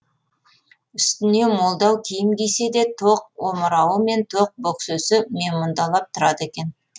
үстіне молдау киім кисе де тоқ омырауы мен тоқ бөксесі менмұндалап тұрады екен